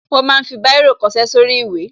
Wọ́n ma ń fi Báírò kọṣẹ́ sórí ìwé